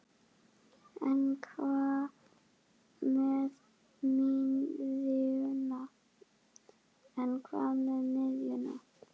En hvað með miðjuna?